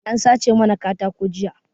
An sace mana katako jiya